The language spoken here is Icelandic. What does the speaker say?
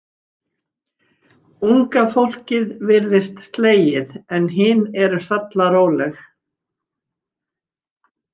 Unga fólkið virðist slegið en hin eru sallaróleg.